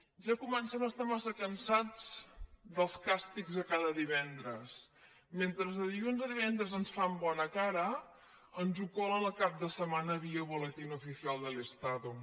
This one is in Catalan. ja comencem a estar massa can·sats dels càstigs de cada divendres mentre de dilluns a divendres ens fan bona cara ens ho colen el cap de setmana via boletín oficial del estado